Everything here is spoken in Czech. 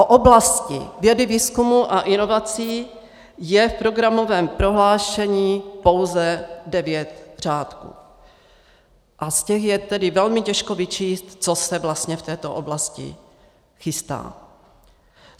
O oblasti vědy, výzkumu a inovací je v programovém prohlášení pouze devět řádků a z těch je tedy velmi těžko vyčíst, co se vlastně v této oblasti chystá.